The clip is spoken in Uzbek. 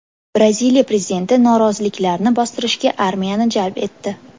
Braziliya prezidenti noroziliklarni bostirishga armiyani jalb etdi.